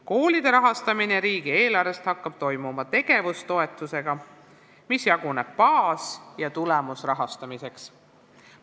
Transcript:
Koolide rahastamine riigieelarvest hakkab toimuma tegevustoetusega, mis jaguneb baas- ja tulemusrahastamiseks.